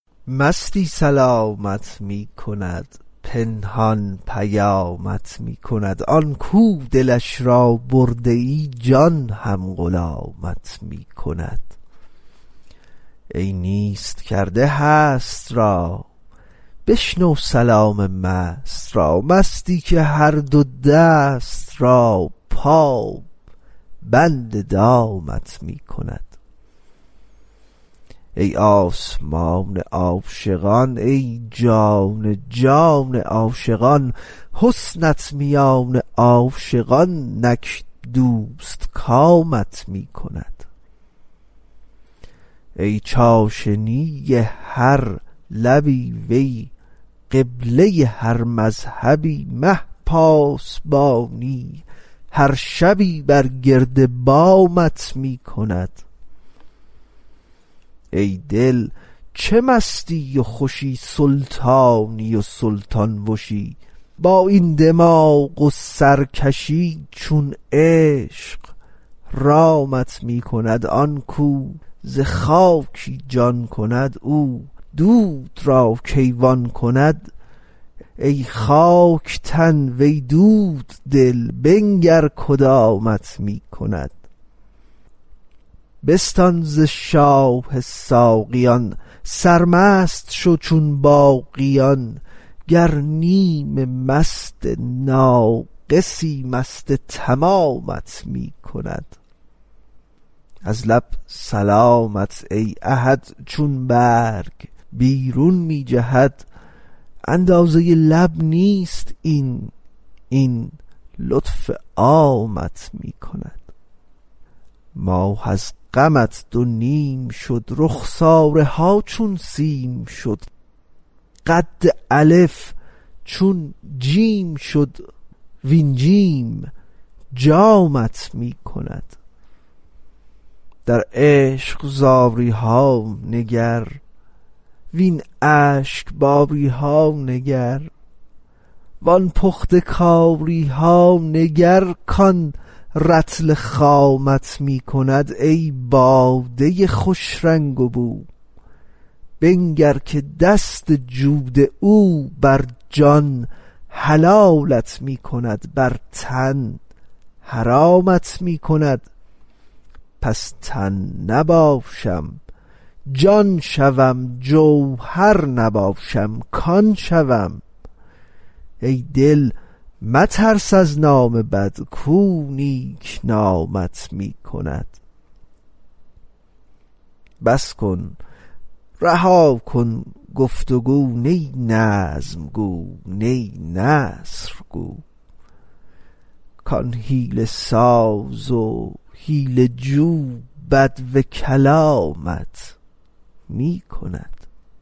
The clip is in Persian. مستی سلامت می کند پنهان پیامت می کند آن کو دلش را برده ای جان هم غلامت می کند ای نیست کرده هست را بشنو سلام مست را مستی که هر دو دست را پابند دامت می کند ای آسمان عاشقان ای جان جان عاشقان حسنت میان عاشقان نک دوستکامت می کند ای چاشنی هر لبی وی قبله هر مذهبی مه پاسبانی هر شبی بر گرد بامت می کند ای دل چه مستی و خوشی سلطانی و سلطان وشی با این دماغ و سرکشی چون عشق رامت می کند آن کو ز خاکی جان کند او دود را کیوان کند ای خاک تن وی دود دل بنگر کدامت می کند بستان ز شاه ساقیان سرمست شو چون باقیان گر نیم مست ناقصی مست تمامت می کند از لب سلامت ای احد چون برگ بیرون می جهد اندازه لب نیست این این لطف عامت می کند ماه از غمت دو نیم شد رخساره ها چون سیم شد قد الف چون جیم شد وین جیم جامت می کند در عشق زاری ها نگر وین اشک باری ها نگر وان پخته کاری ها نگر کان رطل خامت می کند ای باده خوش رنگ و بو بنگر که دست جود او بر جان حلالت می کند بر تن حرامت می کند پس تن نباشم جان شوم جوهر نباشم کان شوم ای دل مترس از نام بد کو نیک نامت می کند بس کن رها کن گفت و گو نی نظم گو نی نثر گو کان حیله ساز و حیله جو بدو کلامت می کند